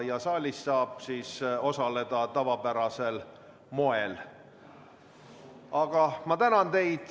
Saalis saab osaleda tavapärasel moel.